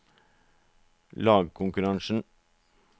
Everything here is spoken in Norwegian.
lagkonkurransen